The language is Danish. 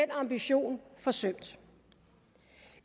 ambition forsømt